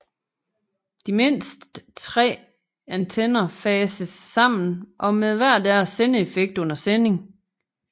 De mindst 3 antenner fases sammen og med hver deres sendeeffekt under sending